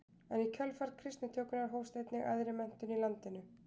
En í kjölfar kristnitökunnar hófst einnig æðri menntun í landinu.